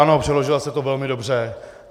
Ano, přeložila jste to velmi dobře.